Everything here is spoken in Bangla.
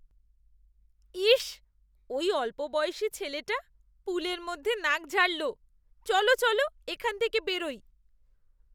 ইস! ওই অল্পবয়সী ছেলেটা পুলের মধ্যে নাক ঝাড়ল। চলো চলো, এখান থেকে বেরোই।